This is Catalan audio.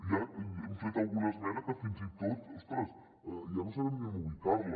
ja hem fet alguna esmena que fins i tot ostres ja no sabem ni on ubicar la